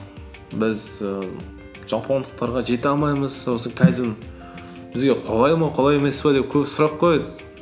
біз ііі жапондықтарға жете алмаймыз осы кайдзен бізге қолай ма қолай емес пе деп көп сұрақ қояды